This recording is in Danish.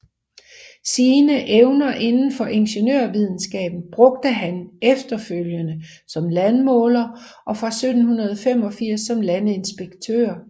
Sine evner inden for ingeniørvidenskaben brugte han efterfølgende som landmåler og fra 1785 som landinspektør